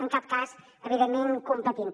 en cap cas evidentment competint